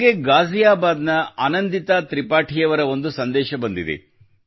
ನನಗೆ ಗಾಜಿಯಾಬಾದ್ ನ ಆನಂದಿತಾ ತ್ರಿಪಾಠಿಯವರ ಒಂದು ಸಂದೇಶ ಬಂದಿದೆ